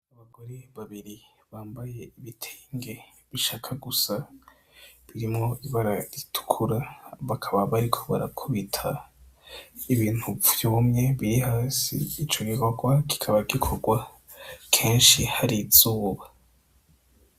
Abagore babiri bambaye ibitenge bishaka gusa birimwo ibara ritukura, bakaba bariko barakubita ibintu vyumye, biri hasi. Ico gikorwa kikaba gikorwa kenshi hari izuba.